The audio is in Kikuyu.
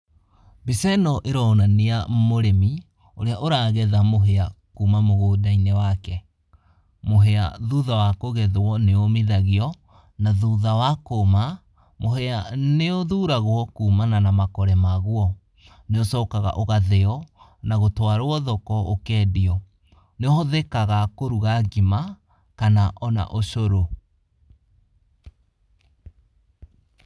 Mbica ĩno ĩronania mũrĩmi ũrĩa ũragetha mũhea kuma mũgũnda-inĩ wake. Mũhea thutha wa kũgethwo nĩomithagio. Na thutha wa kũma, mũhea nĩũthuragwo kumana na makore maguo. Nĩ ucokaga ũgatheo na gũtwarwa thoko ũkendio. Nĩ hothekaga kũruga ngima kana ona ocũrũ.